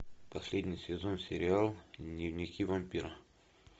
последний сезон сериал дневники вампира